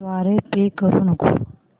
द्वारे पे करू नको